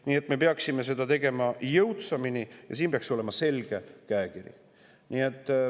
Nii et me peaksime seda tegema jõudsamini ja siin peaks olema selge käekiri.